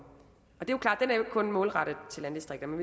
og er målrettet landdistrikterne